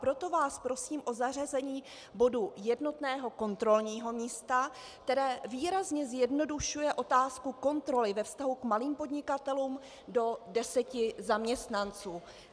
Proto vás prosím o zařazení bodu jednotného kontrolního místa, které výrazně zjednodušuje otázku kontroly ve vztahu k malým podnikatelům do deseti zaměstnanců.